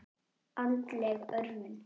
Andleg örvun.